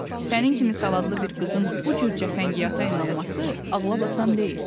Sənin kimi savadlı bir qızın bu cür cəfəngiyata inanması ağlabatan deyil.